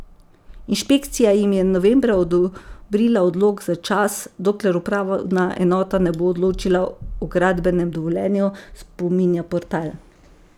Inšpekcija jim je novembra odobrila odlog za čas, dokler upravna enota ne bo odločila o gradbenem dovoljenju, spominja portal.